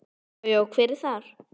Já. já, hver er þar?